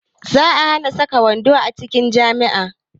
Za a hana saka wando a cikin jami'a